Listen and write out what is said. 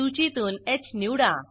सूचीतून ह निवडा